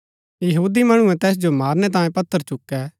यहूदी मणुऐ तैस जो मारणै तांयें पत्थर चुकै